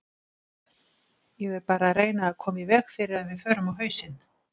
Ég er bara að reyna að koma í veg fyrir að við förum á hausinn.